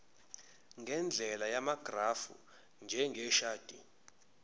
ngendlela yamagrafu njengeshadi